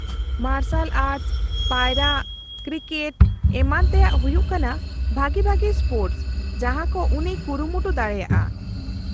-ᱢᱟᱨᱥᱟᱞ ᱟᱨᱴᱥ, ᱯᱟᱭᱨᱟᱜ, ᱠᱨᱤᱠᱮᱴ ᱮᱢᱟᱱ ᱛᱮᱭᱟᱜ ᱦᱩᱭᱩᱜ ᱠᱟᱱᱟ ᱵᱷᱟᱹᱜᱤ ᱵᱷᱟᱹᱜᱤ ᱥᱯᱳᱨᱴᱚᱥ ᱡᱟᱦᱟᱸ ᱠᱚ ᱩᱱᱤᱭ ᱠᱩᱨᱩᱢᱩᱴᱩ ᱫᱟᱲᱮᱭᱟᱜᱼᱟ ᱾